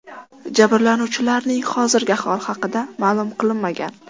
Jabrlanuvchilarning hozirgi ahvoli haqida ma’lum qilinmagan.